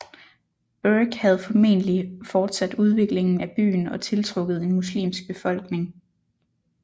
Berke havde formentlig fortsat udviklingen af byen og tiltrukket en muslimsk befolkning